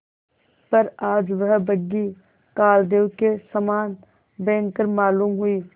पर आज वह बग्घी कालदेव के समान भयंकर मालूम हुई